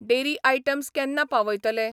Dairy items केन्ना पावयतले?